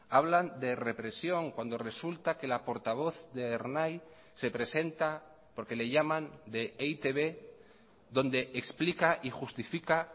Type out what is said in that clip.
hablan de represión cuando resulta que la portavoz de ernai se presenta porque le llaman de e i te be donde explica y justifica